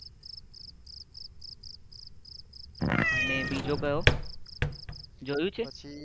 અને બીજો કયો જોયો છે